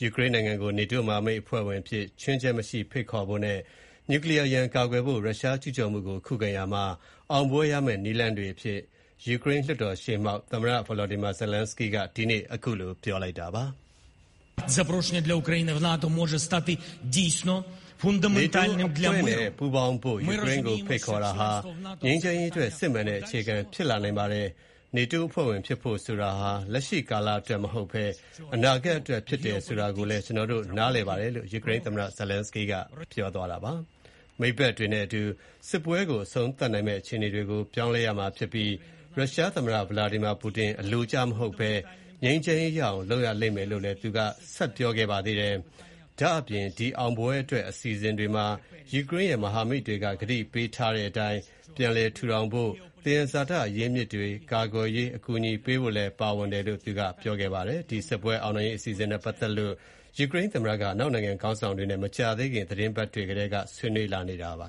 ယူကရိန်းနိုင်ငံကို NATO မဟာမိတ်အဖွဲ့ဝင်အဖြစ် ခြွင်းချက်မရှိ ဖိတ်ခေါ်ဖို့နဲ့ နျူကလီးယားရန်ကာကွယ်ဖို့ ရုရှားကျုးကျော်မှုကို ခုခံရာမှာ အောင်ပွဲရမယ့် နည်းလမ်းတွေအဖြစ် လွှတ်တော်ရှေ့မှောက် ဒီကနေ့ ပြောကြားရာမှာ သမ္မတ Volodymyr Zelenskyy က ထည့်သွင်းပြောဆိုလိုက်ပါတယ်။ “NATO အဖွဲ့နဲ့ ပူးပေါင်းဖို့ ယူကရိန်းကို ဖိတ်ခေါ်တာဟာ ငြိမ်းချမ်းရေးအတွက် စစ်မှန်တဲ့ အခြေခံဖြစ်လာနိုင်ပါတယ်။ NATO အဖွဲ့ဝင် ဖြစ်ဖို့ဆိုတာဟာ လက်ရှိကာလအတွက် မဟုတ်ဘဲ၊ အနာဂတ်အတွက် ဖြစ်တယ်ဆိုတာကိုလည်း ကျနော်တို့ နားလည်ပါတယ်။” လို့ ယူကရိန်းသမ္မတက ပြောဆိုလိုက်တာပါ။ မိတ်ဖက်တွေနဲ့အတူ စစ်ပွဲကို အဆုံးသတ်နိုင်မယ့် အခြေအနေတွေကို ပြောင်းလဲရမှာဖြစ်ပြီး၊ ရုရှားသမ္မတပူတင် အလိုကျမဟုတ်ဘဲ ငြိမ်းချမ်းရေးရအောင် လုပ်ရလိမ့်မယ်လို့လည်း ပြောပါတယ်။ အောင်ပွဲအတွက် အစီအစဉ်တွေမှာ ယူကရိန်းရဲ့ မဟာမိတ်တွေ ကတိပေးထားတဲ့အတိုင်း ပြန်လည်ထူထောင်ဖို့၊ သဘာဝသယံဇာတ အရင်းအမြစ်တွေကို ကာကွယ်ရာမှာ အကူအညီပေးဖို့တွေလည်း ပါဝင်ခဲ့ပါတယ်။ စစ်ပွဲအောင်နိုင်ရေး အစီအစဉ်နဲ့ ပတ်သက်လို့ ယူကရိန်းသမ္မတက အနောက်နိုင်ငံခေါင်းဆောင်တွေနဲ့ မကြာသေးခင်သီတင်းပတ်တွေကတည်းက ဆွေးနွေးနေတာပါ